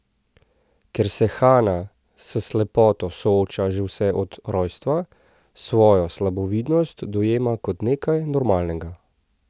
Ker se Hana s slepoto sooča že vse od rojstva, svojo slabovidnost dojema kot nekaj normalnega.